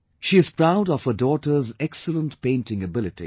She is proud of her daughter's excellent painting ability